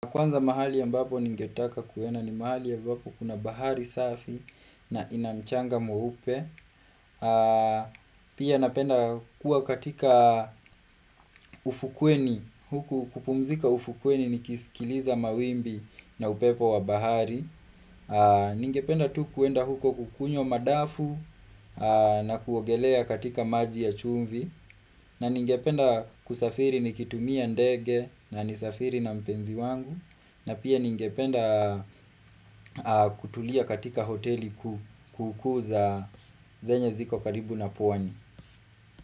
Kwanza mahali ambapo ningetaka kwenda ni mahali ambapo kuna bahari safi na ina mchanga mweupe. Pia napenda kua katika ufukweni, huku kupumzika ufukweni ni kisikiliza mawimbi na upepo wa bahari. Ningependa tu kwenda huko kukunywa madafu na kuogelea katika maji ya chumvi. Na ningependa kusafiri nikitumia ndege na nisafiri na mpenzi wangu. Na pia ningependa kutulia katika hoteli kuu kuu zenye ziko karibu na pwani.